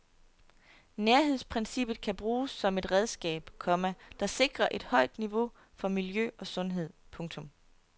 Nærhedsprincippet kan bruges som et redskab, komma der sikrer et højt niveau for miljø og sundhed. punktum